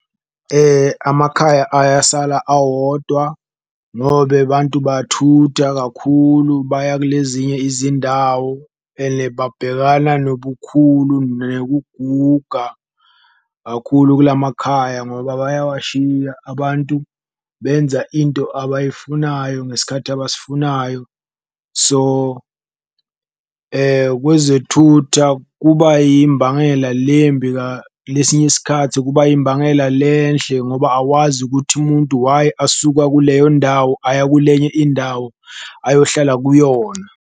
Amakhaya ayasala awodwa ngobe bantu bathutha kakhulu baya kulezinye izindawo, ene babhekana nobukhulu nekuguga kakhulu kula makhaya ngoba bayawashiya, abantu benza into abayifunayo ngesikhathi abasifunayo. So, kwezekuthutha kuba yimbangela lembi lesinye isikhathi kuba yimbangela lenhle ngoba awazi ukuthi umuntu why asuka kuleyo ndawo aya kulenye indawo ayohlala kuyona.